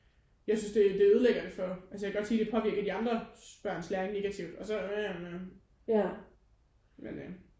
Jeg synes det det ødelægger det for altså jeg kan godt sige det påvirker de andre børns læring negativt og så orh mhm mhm men øh